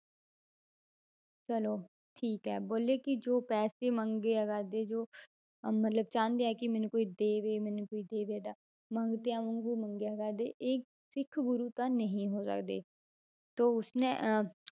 ਚਲੋ ਠੀਕ ਹੈ ਬੋਲੇ ਕਿ ਜੋ ਪੈਸੇ ਮੰਗਿਆ ਕਰਦੇ ਜੋ ਅਹ ਮਤਲਬ ਚਾਹੁੰਦੇ ਆ ਕਿ ਮੈਨੂੰ ਕੋਈ ਦੇਵੇ ਮੈਨੂੰ ਕੋਈ ਦੇਵੇ ਦਾ ਮੰਗਤਿਆਂ ਵਾਂਗੂ ਮੰਗਿਆ ਕਰਦੇ, ਇਹ ਸਿੱਖ ਗੁਰੂ ਤਾਂ ਨਹੀਂ ਹੋ ਸਕਦੇ ਤਾਂ ਉਸਨੇ ਅਹ